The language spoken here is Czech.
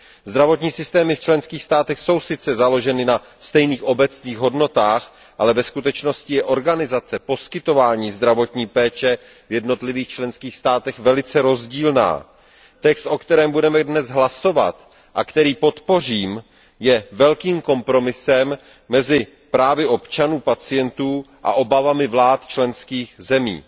Zdravotní systémy v členských státech jsou sice založeny na stejných obecných hodnotách, ale ve skutečnosti je organizace poskytování zdravotní péče v jednotlivých členských státech velice rozdílná. Text, o kterém budeme zítra hlasovat a který podpořím, je velkým kompromisem mezi právy občanů, pacientů a obavami vlád členských zemí.